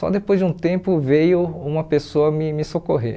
Só depois de um tempo veio uma pessoa me me socorrer.